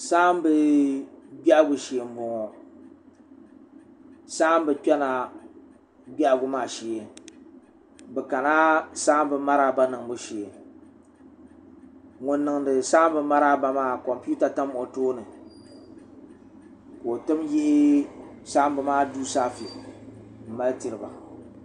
saambi biɛhagu shee n boŋo saambi kpɛna biɛhagu maa shee bi kana saambi maraaba niŋbu shee ŋun niŋdi saambi maraaba maa kompiuta tam o tooni ka o tim yihi saambi maa duu saafɛ n mali tiriba